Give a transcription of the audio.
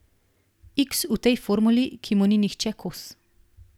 Iks v tej formuli, ki mu ni nihče kos.